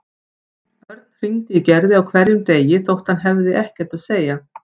Örn hringdi í Gerði á hverjum degi þótt hann hafði ekkert að segja.